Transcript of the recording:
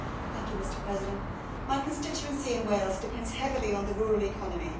Mr President, my constituency in Wales depends heavily on the rural economy